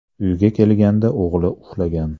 Uyga kelganda o‘g‘li uxlagan.